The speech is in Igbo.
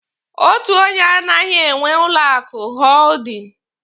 Otu onye anaghị enwe ụlọ akụ hoodin.